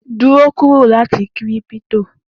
Duro kuro lati kírípítò!